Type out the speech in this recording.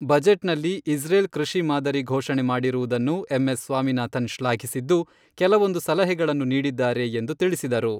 ಬಜೆಟ್ನಲ್ಲಿ ಇಸ್ರೇಲ್ ಕೃಷಿ ಮಾದರಿ ಘೋಷಣೆ ಮಾಡಿರುವುದನ್ನು ಎಂ.ಎಸ್.ಸ್ವಾಮಿನಾಥನ್ ಶ್ಲಾಘಿಸಿದ್ದು, ಕೆಲವೊಂದು ಸಲಹೆಗಳನ್ನು ನೀಡಿದ್ದಾರೆ ಎಂದು ತಿಳಿಸಿದರು.